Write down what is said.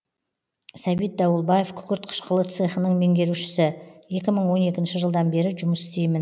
сәбит дауылбаев күкірт қышқылы цехының меңгерушісі екі мың он екінші жылдан бері жұмыс істеймін